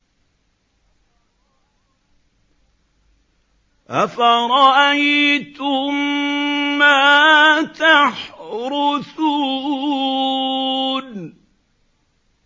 أَفَرَأَيْتُم مَّا تَحْرُثُونَ